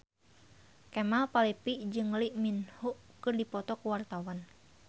Kemal Palevi jeung Lee Min Ho keur dipoto ku wartawan